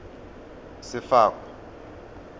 sefako